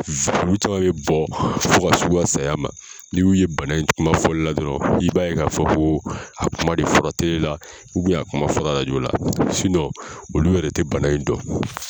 bɛ bɔ fo ka se u ka saya ma n'i y'u ye bana in kuma fɔli la dɔrɔn i b'a ye ka fɔ ko a kuma de fɔ la la a kuma fɔ la la olu yɛrɛ tɛ bana in dɔn.